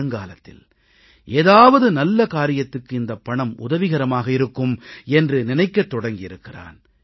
வருங்காலத்தில் ஏதாவது நல்ல காரியத்துக்கு இந்தப் பணம் உதவிகரமாக இருக்கும் என்று நினைக்கத் தொடங்கியிருக்கிறான்